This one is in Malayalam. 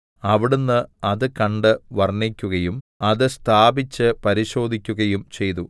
അവിടുന്ന് അത് കണ്ട് വർണ്ണിക്കുകയും അത് സ്ഥാപിച്ച് പരിശോധിക്കുകയും ചെയ്തു